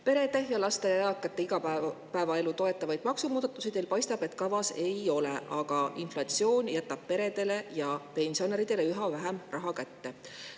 Paistab, et perede ja laste ja eakate igapäevaelu toetavaid maksumuudatusi teil kavas ei ole, samas jätab inflatsioon peredele ja pensionäridele üha vähem raha kätte.